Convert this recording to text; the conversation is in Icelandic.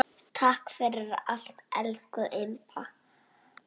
Takk fyrir allt, elsku Imba.